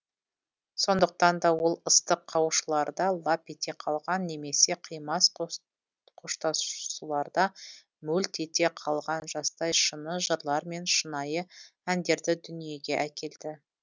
сондықтан да ол ыстық қауышуларда лап ете қалған немесе қимас қоштасуларда мөлт ете қалған жастай шыны жырлар мен шынайы әндерді дүниеге әкелді